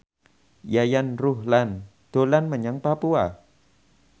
Yayan Ruhlan dolan menyang Papua